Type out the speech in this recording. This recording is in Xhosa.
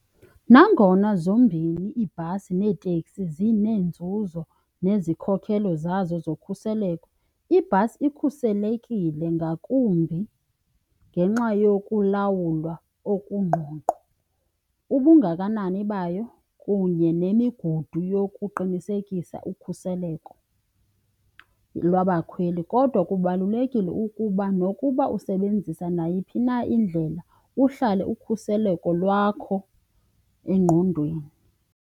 Nangona zombini iibhasi neeteksi zineenzuzo nezikhokelo zazo zokhuseleko, ibhasi ikhuselekile ngakumbi ngenxa yokulawulwa okungqongqo, ubungakanani bayo kunye nemigudu yokuqinisekisa ukhuseleko lwabakhweli. Kodwa kubalulekile ukuba nokuba usebenzisa nayiphi na indlela kuhlale ukhuseleko lwakho engqondweni.